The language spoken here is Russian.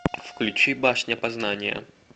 включи башня познания